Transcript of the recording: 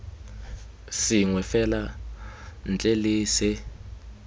sengwe fela ntle le se